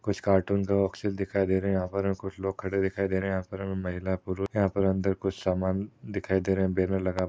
कुछ कार्टून के बॉक्सेस दिखाई दे रहे है यहाँ पर कुछ लोग खडे दिखाई दे रहे है यहाँ पर महिला पुरुष यहाँ पर अंदर कुछ सामान दिखाई दे रहा बॅनर लगा--